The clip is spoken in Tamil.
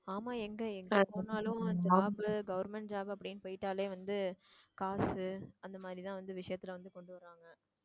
ஆமா எங்க எங்க போனாலும் job உ government job அப்படின்னு போயிட்டாலே வந்து காசு அந்த மாதிரிதான் வந்து விஷயத்துல வந்து கொண்டு வர்றாங்க